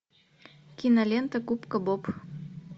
кинолента губка боб